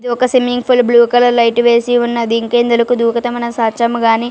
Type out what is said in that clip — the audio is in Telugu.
ఇది ఒక swimming pool blue colour light వేసిఉన్నది ఇంకా ఇందులో దూకుతే మనము--